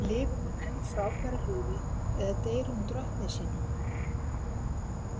Lifir hún enn frábæru lífi eða deyr hún drottni sínum?